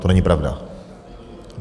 To není pravda!